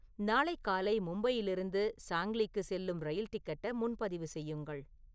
நாளை காலை மும்பையிலிருந்து சாங்லிக்கு செல்லும் ரயில் டிக்கெட்ட முன்பதிவு செய்யுங்கள்